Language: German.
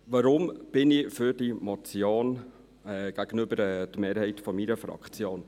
Warum bin ich für diese Motion, entgegen dem Standpunkt der Mehrheit meiner Fraktion?